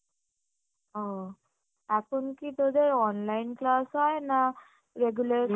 ও এখন কি তোদের online class হয় না regular